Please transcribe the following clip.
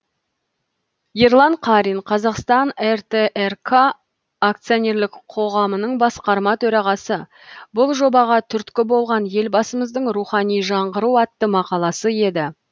ерлан қарин қазақстан ртрк акционерлік қоғамының басқарма төрағасы бұл жобаға түрткі болған елбасымыздың рухани жаңғыру атты мақаласы еді